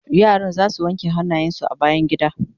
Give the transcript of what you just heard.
yaran zasu wanke hannayen su a bayangida